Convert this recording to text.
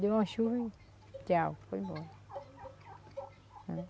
Deu uma chuva e tchau, foi embora, né.